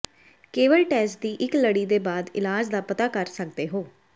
ਕੇਵਲ ਟੈਸਟ ਦੀ ਇੱਕ ਲੜੀ ਦੇ ਬਾਅਦ ਇਲਾਜ ਦਾ ਪਤਾ ਕਰ ਸਕਦੇ ਹੋ